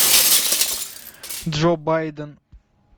джо байден